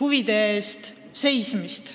huvide eest seista.